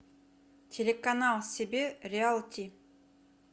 телеканал себе реал ти